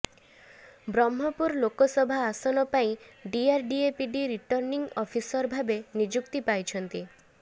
ବ୍ରହ୍ମପୁର ଲୋକସଭା ଆସନ ପାଇଁ DRDA PD returning officer ଭାବେ ନିଯୁକ୍ତି ପାଇଛନ୍ତି